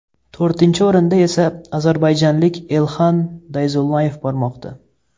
To‘rtinchi o‘rinda esa ozarbayjonlik Elxan Dayzullayev bormoqda.